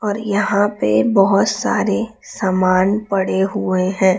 और यहाॅं पे बहोत सारे सामान पड़े हुए हैं।